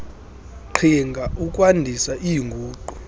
qhinga ukwandisa iinguqu